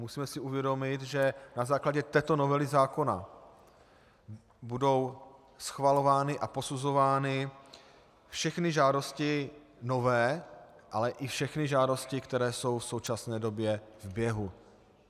Musíme si uvědomit, že na základě této novely zákona budou schvalovány a posuzovány všechny žádosti nové, ale i všechny žádosti, které jsou v současné době v běhu.